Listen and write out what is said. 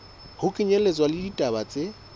ho kenyelletswa le ditaba tse